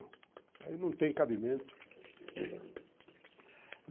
Isso aí não tem cabimento.